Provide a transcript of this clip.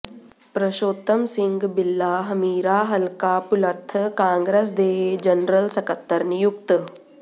ਪ੍ਰਸ਼ੋਤਮ ਸਿੰਘ ਬਿੱਲਾ ਹਮੀਰਾ ਹਲਕਾ ਭੁਲੱਥ ਕਾਂਗਰਸ ਦੇ ਜਨਰਲ ਸਕੱਤਰ ਨਿਯੁਕਤ